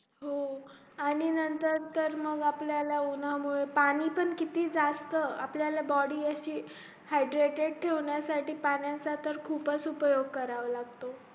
हो आणि नंतर तर मग आपल्याला उन्हं मूळे पाणी पण किती जास्त आपल्या body अशी hydrated ठेवण्यासाठी पाण्याचा खूपच उपयोग करावा लागतो